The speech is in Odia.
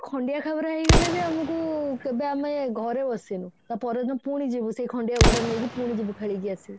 ଖଣ୍ଡିଆ ଖାବରା ହେଇଗଲେ ବି ଆମକୁ କେବେ ଆମେ ଘରେ ବସିନୁ ତା ପର ଦିନ ପୁଣି ଯିବୁ ସେଇ ଖଣ୍ଡିଆ ଗୋଡ ନେଇକି ପୁଣି ଯିବୁ ଖେଳିକି ଆସିବୁ